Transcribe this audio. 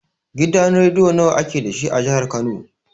Gidan rediyo nawa ake dashi a jihar kano?